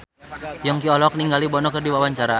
Yongki olohok ningali Bono keur diwawancara